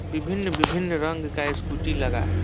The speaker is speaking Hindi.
विभन्न-विभिन्न रंग का स्कूटी लगा है।